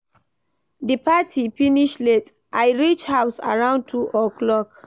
Di party finish late, I reach house around 2 o'clock.